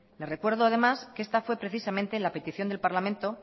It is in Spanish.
le recuerdo además que esta fue precisamente la petición del parlamento